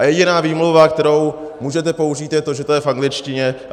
A jediná výmluva, kterou můžete použít, je to, že to je v angličtině.